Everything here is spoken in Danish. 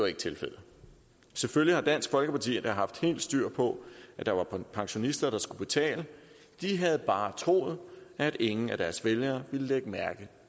er tilfældet selvfølgelig har dansk folkeparti da haft helt styr på at der var pensionister der skulle betale de havde bare troet at ingen af deres vælgere ville lægge mærke